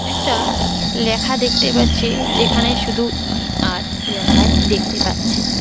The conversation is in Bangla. একটা লেখা দেখতে পাচ্ছে যেখানে শুধু ই_আর লেখাই দেখতে পাচ্ছে।